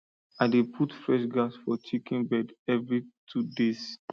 i dey put fresh grass for chicken bed every two days